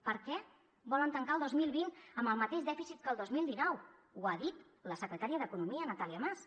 per què volen tancar el dos mil vint amb el mateix dèficit que el dos mil dinou ho ha dit la secretària d’economia natàlia mas